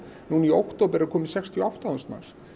nú í október eru komin sextíu og átta þúsund manns